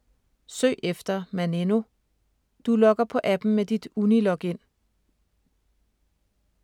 Søg efter ”Maneno”. Du logger på appen med dit Uni-login.